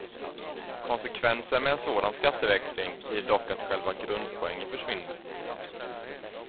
Konsekvensen med en sådan skatteväxling blir dock att själva grundpoängen försvinner.